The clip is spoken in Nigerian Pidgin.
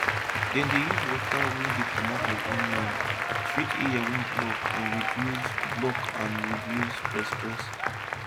dem dey use water wey dey comot from onion treat ear wey block and reduce block and reduce press press